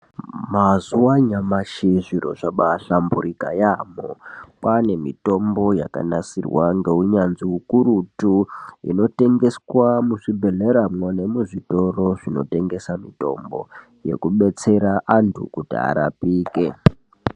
Mazuva anyamashi zviro zvabahlamburika yaambo kwane mitombo yakanasirwa nehunyanzvi ukurutu inotengeswa muzvibhedhleramwo nemuzvitoro zvinotengesa mitombo inodetsera antu kuti arapike.